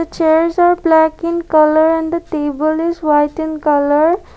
chairs are black in colour and table is white in colour.